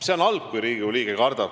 See on halb, kui Riigikogu liige kardab.